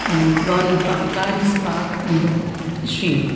and one pa car is parked in the shed.